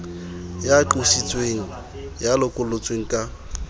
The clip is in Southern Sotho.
ya qositsweng ya lokollotsweng ka